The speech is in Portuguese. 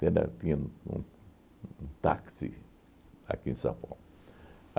Tinha um um táxi aqui em São Paulo.